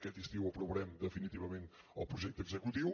aquest estiu aprovarem definitivament el projecte executiu